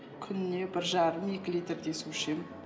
күніне бір жарым екі литрдей су ішемін